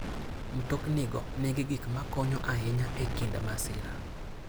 Mtoknigo nigi gik makonyo ahinya e kinde masira.